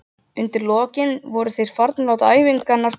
Undir lokin voru þeir farnir að láta æfingarnar duga.